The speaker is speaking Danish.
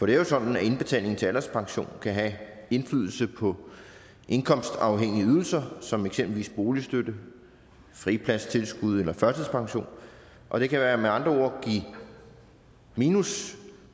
det er jo sådan at indbetaling til en alderspension kan have indflydelse på indkomstafhængige ydelser som eksempelvis boligstøtte fripladstilskud eller førtidspension og det kan med andre ord give minus